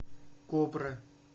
кобра